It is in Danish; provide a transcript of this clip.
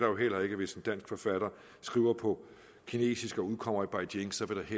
jo heller ikke hvis en dansk forfatter skriver på kinesisk og udkommer i beijing